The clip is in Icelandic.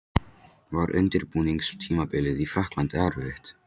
Var undirbúningstímabilið í Frakklandi erfitt?